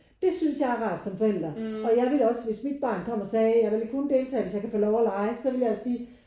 Det synes jeg er rart som forældre og jeg ville da også hvis mit barn kom og sagde jeg vil kun deltage hvis jeg kan få lov og lege. Så ville jeg jo sige